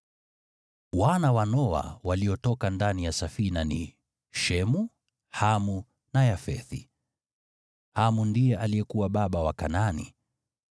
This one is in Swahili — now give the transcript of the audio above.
Wana wa Noa waliotoka ndani ya safina ni: Shemu, Hamu na Yafethi. (Hamu ndiye alikuwa baba wa Kanaani.)